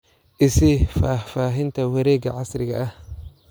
i sii faahfaahinta wareegga casriga ah